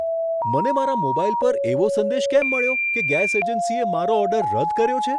મને મારા મોબાઈલ પર એવો સંદેશ કેમ મળ્યો કે ગેસ એજન્સીએ મારો ઓર્ડર રદ કર્યો છે?